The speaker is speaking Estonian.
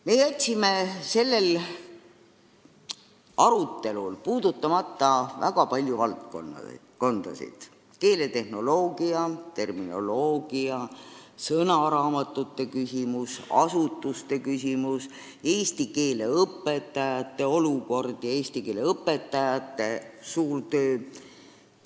Me jätsime sellel arutelul puudutamata väga palju valdkondasid: keeletehnoloogia, terminoloogia, sõnaraamatute küsimus, asutuste küsimus, eesti keele õpetajate olemasolu ja eesti keele õpetajate suur töö.